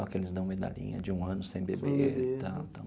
Aqueles dão medalhinha de um ano sem beber e tal.